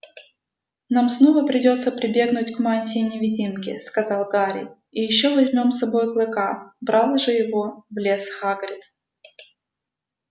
нам снова придётся прибегнуть к мантии-невидимке сказал гарри и ещё возьмём с собой клыка брал же его в лес хагрид